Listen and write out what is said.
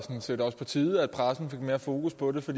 set også på tide at pressen fik mere fokus på det for